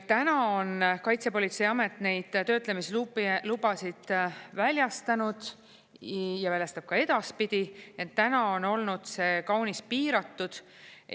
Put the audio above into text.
Täna on Kaitsepolitseiamet neid töötlemislubasid väljastanud ja väljastab ka edaspidi, ent täna on olnud see kaunis piiratud.